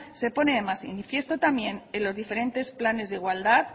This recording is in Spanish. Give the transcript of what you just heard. se pone de manifiesto también en los diferentes planes de igualdad